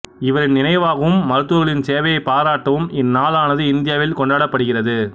இவரின் நினைவாகவும் மருத்துவர்களின் சேவையை பாராட்டவும் இந்நாளானது இந்தியாவில் கொண்டாடப்படுகிறது